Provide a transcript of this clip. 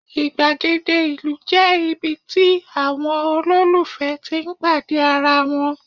igbagede ìlú je ibi tí àwọn ololufẹ tí n pàdé ara wan